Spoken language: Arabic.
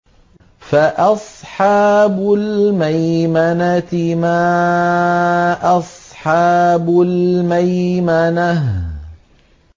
فَأَصْحَابُ الْمَيْمَنَةِ مَا أَصْحَابُ الْمَيْمَنَةِ